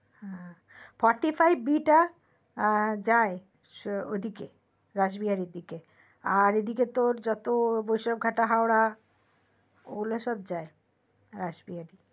হম fortyfiveB যায় ওদিক থেকে রাসবিহারীর দিকে আর এ দিক থেকে তোর যতো বৈষ্ণবঘাটা, হাওড়া ওগুলো সব যায় রাসবিহারী